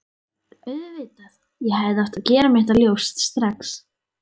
Auðvitað, ég hefði átt að gera mér það ljóst strax.